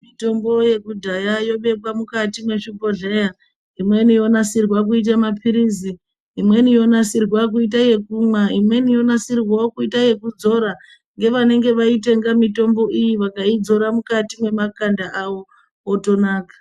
Mitombo yekudhaya yobekwa mukati mezvibhohleya imweni yonasirwa kuita mapirizi imweni yonasirwa kuita yekumwa imweni yonasirwawo yekudzora ndevanenge vaitenga mitombo iyi vakaidzora Mukati mwemakanda awo motonaka.